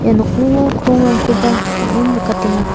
ia nokningo krongrangkoba bang·en nikatenga.